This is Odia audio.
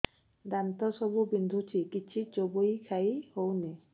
ଦାନ୍ତ ସବୁ ବିନ୍ଧୁଛି କିଛି ଚୋବେଇ ଖାଇ ହଉନି